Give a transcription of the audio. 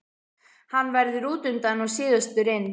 Hann verður útundan og síðastur inn.